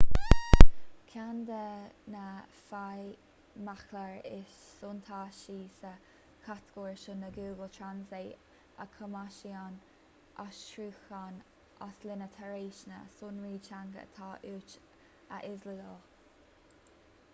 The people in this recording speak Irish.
ceann de na feidhmchláir is suntasaí sa chatagóir seo ná google translate a chumasaíonn aistriúchán as líne tar éis na sonraí teanga atá uait a íoslódáil